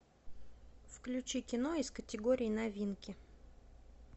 включи кино из категории новинки